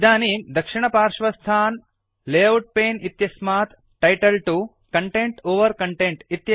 इदानीं दक्षिणपार्श्वस्थात् layout pane इत्यस्मात् टाइटल 2 कन्टेन्ट् ओवर कन्टेन्ट्